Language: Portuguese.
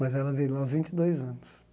Mas ela veio de lá aos vinte e dois anos.